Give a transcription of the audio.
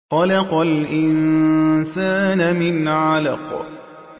خَلَقَ الْإِنسَانَ مِنْ عَلَقٍ